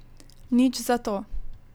Nič zato.